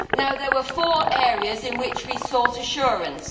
There were four areas in which we sought assurances.